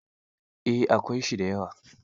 Eh, akwai shi da yawa.